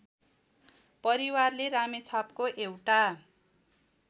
परिवारले रामेछापको एउटा